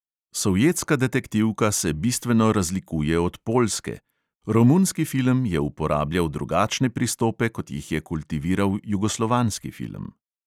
Sovjetska detektivka se bistveno razlikuje od poljske, romunski film je uporabljal drugačne pristope, kot jih je kultiviral jugoslovanski film.